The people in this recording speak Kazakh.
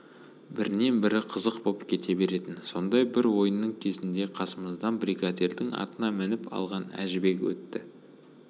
бірінен-бірі қызық боп кете беретін сондай бір ойынның кезінде қасымыздан бригадирдің атына мініп алған әжібек өтті